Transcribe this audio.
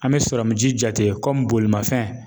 An mi sɔrɔmu ji jate kɔmi bolimafɛn